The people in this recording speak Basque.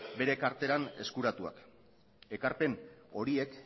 bere karteran eskuratuak ekarpen horiek